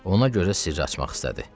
Ona görə sirri açmaq istədi.